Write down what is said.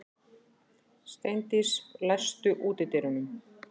Steindís, læstu útidyrunum.